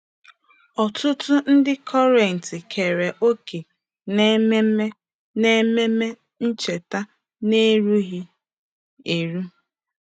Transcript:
Ọtụtụ ndị Kọrint keere òkè na Ememe na Ememe Ncheta n'erughị eru.